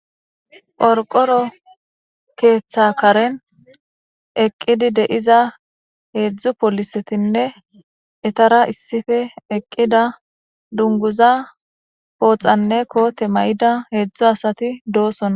porqoro keeththa karen eqqidi deiza heedzdzu polisetinne etara issife eqqida dunguza pooxanne koote may7ida heedzdzu asati doosona